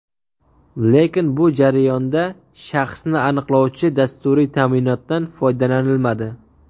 Lekin bu jarayonda shaxsni aniqlovchi dasturiy ta’minotdan foydalanilmadi.